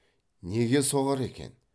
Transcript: неге соғар екен